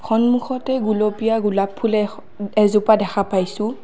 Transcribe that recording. সন্মুখতে গুলপীয়া গোলাপ ফুলে এ-স- এজোপা দেখা পাইছোঁ।